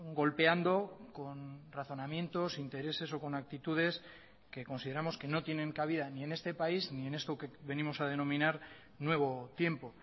golpeando con razonamientos intereses o con actitudes que consideramos que no tienen cabida ni en este país ni en esto que venimos a denominar nuevo tiempo